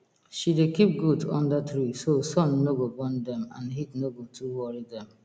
she dey keep goat under tree so sun no go burn dem and heat no go too worry dem